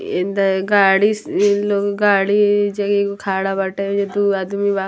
इं द गाड़ीस इइ लोग गाड़ी इ जे के एगो खड़ा बाटे एजा दूगो आदमी बा।